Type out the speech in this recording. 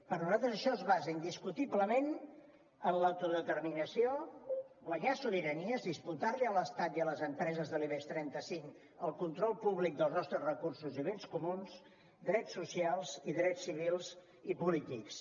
per nosaltres això es basa indiscutiblement en l’autodeterminació guanyar sobiranies disputar li a l’estat i a les empreses de l’ibex trenta cinc el control públic dels nostres recursos i béns comuns drets socials i drets civils i polítics